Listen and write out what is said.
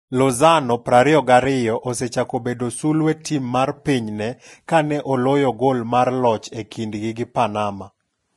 Lozano, 22, osechako bedo sulwee tim mar pinyne kane oloyo gol mar loch e kindgi gi Panama.